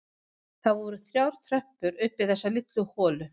Það voru þrjár tröppur upp í þessa litlu holu.